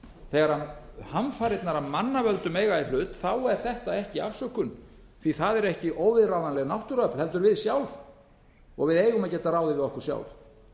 þegar hamfarirnar af mannavöldum eiga í hlut er þetta ekki afsökun því það er ekki óviðráðanleg náttúruöfl heldur við sjálf við eigum að geta ráðið við okkur sjálf